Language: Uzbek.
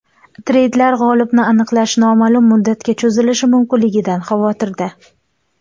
Treyderlar g‘olibni aniqlash noma’lum muddatga cho‘zilishi mumkinligidan xavotirda.